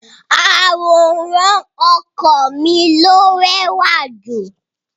Àwòrán ọkọ mi ló rẹ́wà jù.